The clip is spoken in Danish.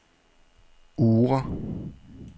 Oura